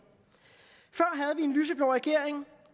en lyseblå regering